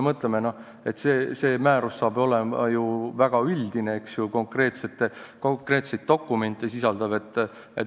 See määrus hakkab olema ju väga üldine ja konkreetseid dokumente sisaldav.